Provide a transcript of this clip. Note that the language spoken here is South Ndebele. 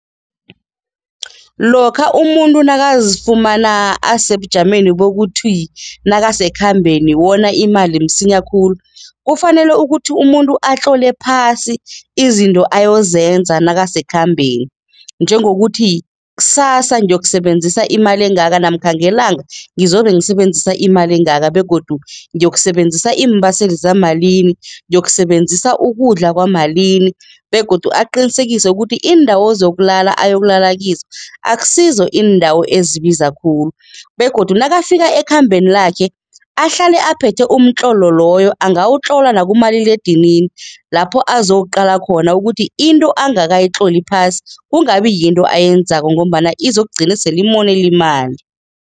Lokha umuntu nakazifumana asebujameni bokuthi nakasekhambeni wona imali msinya khulu, kufanele ukuthi umuntu atlole phasi izinto ayozenza nakasekhambeni. Njengokuthi ksasa ngiyokusebenzisa imali engaka namkha ngelanga ngizobe ngisebenzisa imali engaka begodu ngiyokusebenzisa iimbaseli zamalini, ngiyokusebenzisa ukudla kwamalimi begodu aqinisekise ukuthi iindawo zokulala ayokulala kizo akusizo iindawo ezibiza khulu begodu nakafika ekhambeni lakhe, ahlale aphethe umtlolo loyo. Angawutlola nakumaliledinini lapho abazowuqala khona ukuthi into angakayitloli phasi kungabi yinto ayenzako ngombana izokugcina sele imonela imali.